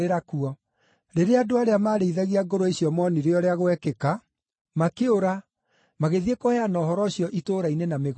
Rĩrĩa andũ arĩa maarĩithagia ngũrwe icio moonire ũrĩa gwekĩka, makĩũra, magĩthiĩ kũheana ũhoro ũcio itũũra-inĩ na mĩgũnda-inĩ,